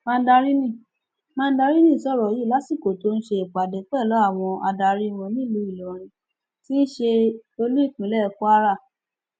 mandarini mandarini sọrọ yìí lásìkò tó ń ṣe ìpàdé pẹlú àwọn adarí wọn nílùú ìlọrin tí í ṣe olú ìpínlẹ kwara